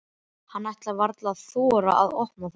Hann ætlar varla að þora að opna það.